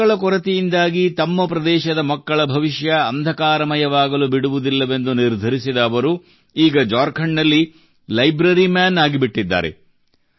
ಪುಸ್ತಕಗಳ ಕೊರತೆಯಿಂದಾಗಿ ತಮ್ಮ ಪ್ರದೇಶದ ಮಕ್ಕಳ ಭವಿಷ್ಯ ಅಂಧಕಾರಮಯವಾಗಲು ಬಿಡುವುದಿಲ್ಲವೆಂದು ನಿರ್ಧರಿಸಿದ ಅವರು ಈಗ ಝಾರ್ಖಂಡ್ ನಲ್ಲಿ ಲೈಬ್ರರಿ ಮನ್ ಆಗಿಬಿಟ್ಟಿದ್ದಾರೆ